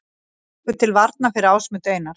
Tekur til varna fyrir Ásmund Einar